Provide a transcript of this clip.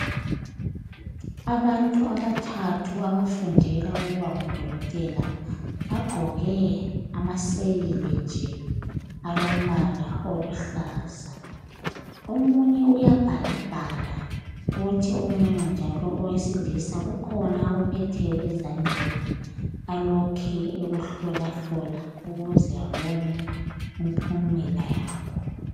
Abantu abathathu abafundela ukuba ngo Dokotela bagqoke amaseyili nje alombala oluhlaza . Omunye uyabhalabhala kuthi omunye njalo owesilisa kukhona akuphetheyo ezandleni alokhe ekuhlolahlola ukuze abone impumela yakho.